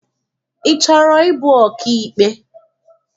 Ị chọrọ ịbụ ọkaikpe?